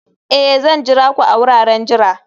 Ee!, Zan jira ku a wuraren jira